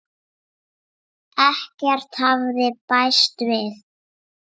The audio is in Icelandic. Ekkert hafði bæst við.